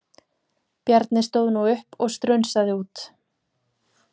Bjarni stóð nú upp og strunsaði út.